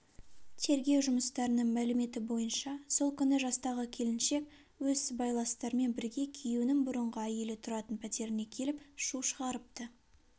тергеу жұмыстарының мәліметі бойынша сол күні жастағы келіншек өз сыбайластарымен бірге күйеуінің бұрынғы әйелі тұратын пәтеріне келіп шу шығарыпты